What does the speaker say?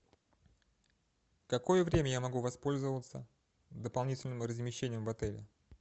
какое время я могу воспользоваться дополнительным размещением в отеле